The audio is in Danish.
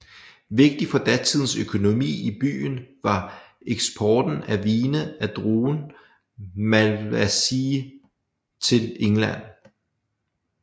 Vigtig for datidens økonomi i byen var eksporten af vine af druen Malvasia til England